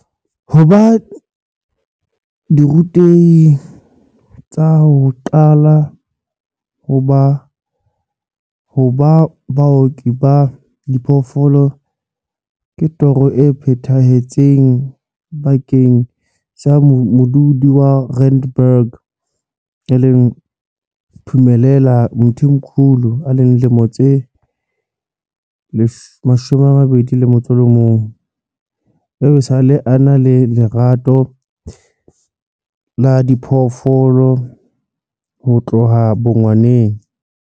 Ho ba dirutehi tsa ho qala ho ba baoki ba diphoofolo ke toro e phethahetseng bakeng sa modudi wa Randburg Phumelela Mthimkhulu, 21, eo esale a na le lerato la diphoofolo ho tloha bongwaneng.